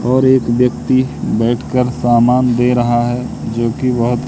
और एक व्यक्ति बैठ कर सामान दे रहा है जोकि बहोत--